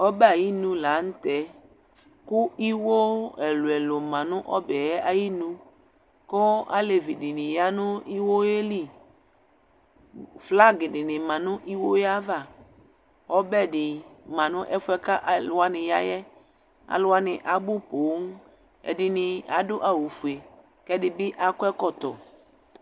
ɛbɛ ayinʋ lantɛ kʋ iwɔ ɛlʋɛlʋ manʋ ɔbɛ ayinʋ kʋ alɛvi dini yanʋ iwɔɛ li, flag dini manʋ iwɔɛ aɣa, ɔbɛdi manʋ ɛƒʋɛ kʋ alʋwani yaɛ, alʋwani abʋ pɔɔm, ɛdini adʋ awʋƒʋɛ kʋɛdibi akɔ ɛkɔtɔ